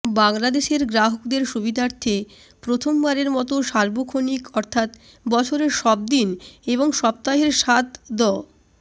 বাংলাদেশের গ্রাহকদের সুবিধার্থে প্রথমবারের মতো সার্বক্ষণিক অর্থাৎ বছরের সব দিন এবং সপ্তাহের সাত দ